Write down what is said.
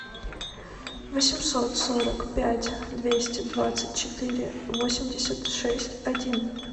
восемьсот сорок пять двести двадцать четыре восемьдесят шесть один